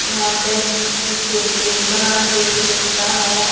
यहां बेक स सेक नहीं बनाना सेक भी मिलता है।